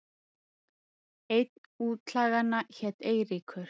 Einn útlaganna hét Eiríkur.